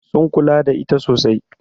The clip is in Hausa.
Sun kula da ita sosai.